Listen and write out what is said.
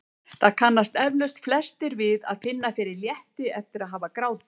Það kannast eflaust flestir við að finna fyrir létti eftir að hafa grátið.